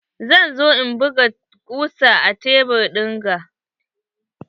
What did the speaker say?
Zan zo in buga kusa a tebur ɗinga.